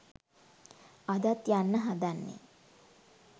අදත් යන්න හදන්නේ